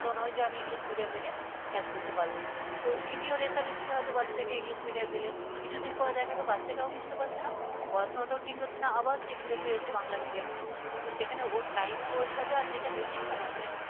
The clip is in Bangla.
তখন ওই যে আমি english medium দেখে catch করতে পারব তো এই নিয়েও রেষারেষিতে বাচ্চাটাকে english medium দিলেন কিছুদিন পর দেখা গেল বাচ্চাটাও বুঝতে পারছে না পড়াশোনাটাও ঠিক হচ্ছে না আবার সে ঘুরে ফিরে এসে বাংলা medium পড়ছে। তো সেখানে ওর time waste বে যেটা basic সময় মানে